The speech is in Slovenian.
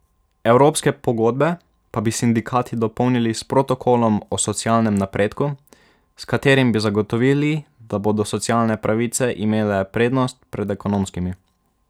Evropske pogodbe pa bi sindikati dopolnili s protokolom o socialnem napredku, s katerim bi zagotovili, da bodo socialne pravice imele prednost pred ekonomskimi.